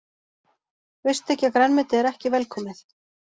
Veistu ekki að grænmeti er ekki velkomið?